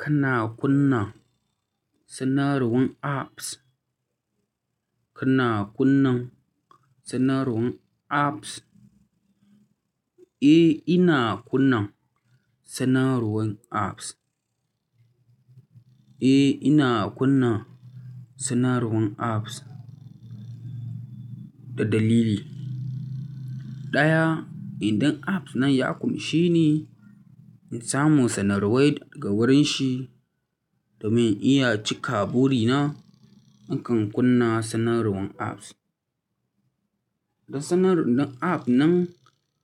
Kana kunna sanarwan apps? Kina kunna sanarwan apps? Eh, ina kunna sanarwan apps. Eh, ina kunna sanarwan apps da dalili. Ɗaya, idan app nan ya ƙunshi ni in samu sanarwa daga wurin shi da mun iya cika buri nakan kunna sanarwan apps. Da sanarwar app nan